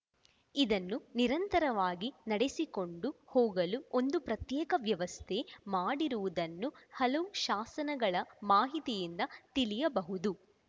ಇದನ್ನು ನಿರಂತರವಾಗಿ ನಡೆಸಿಕೊಂಡು ಹೋಗಲು ಒಂದು ಪ್ರತ್ಯೇಕ ವ್ಯವಸ್ಥೆ ಮಾಡಿರುವುದನ್ನು ಹಲವು ಶಾಸನಗಳ ಮಾಹಿತಿಯಿಂದ ತಿಳಿಯಬಹುದು